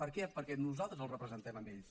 per què perquè nosaltres els representem a ells